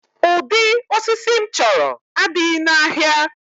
Ụdị osisi m chọrọ adịghị n'ahịa